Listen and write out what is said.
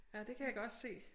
Ja det kan jeg godt se